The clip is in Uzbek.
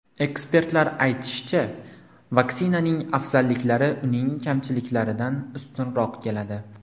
Ekspertlar aytishicha, vaksinaning afzalliklari uning kamchiliklaridan ustunroq keladi.